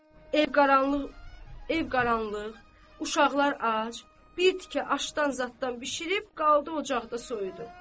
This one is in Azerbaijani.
Ev qaranlıq, ev qaranlıq, uşaqlar ac, bir tikə aşdan zaddan bişirib qaldı ocaqda soyudu.